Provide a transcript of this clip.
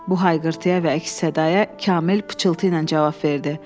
Bu hayqırtıya və əks-sədaya Kamil pıçıltı ilə cavab verdi.